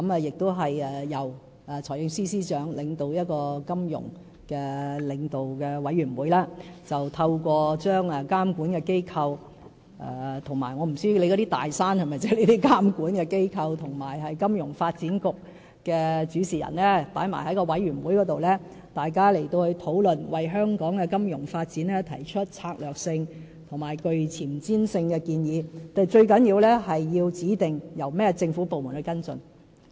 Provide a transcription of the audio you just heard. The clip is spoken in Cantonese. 由財政司司長主持的"金融領導委員會"，透過把監管機構——我不知道張議員所說的"大山"是否意指監管機構——及金融發展局的主事人一併加入委員會討論，為香港金融發展提出策略性及具前瞻性的建議，但最重要是要指定由有關的政府部門跟進。